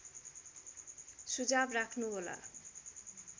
सुझाव राख्नुहोला